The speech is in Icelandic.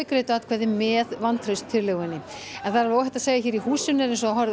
greiddu atkvæði með vantrauststillögunni en það er óhætt að segja að í húsinu